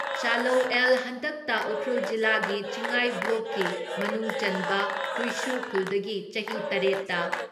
ꯆꯥꯂꯧ ꯑꯦꯜ ꯍꯟꯗꯛꯇ ꯎꯈ꯭ꯔꯨꯜ ꯖꯤꯂꯥꯒꯤ ꯆꯤꯡꯉꯥꯏ ꯕ꯭ꯂꯣꯛꯀꯤ ꯃꯅꯨꯡꯆꯟꯕ ꯍꯨꯏꯁꯨ ꯈꯨꯜꯗꯒꯤ ꯆꯍꯤ ꯇꯔꯦꯠ ꯇ